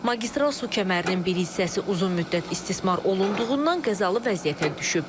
Magistral su kəmərinin bir hissəsi uzun müddət istismar olunduğundan qəzalı vəziyyətə düşüb.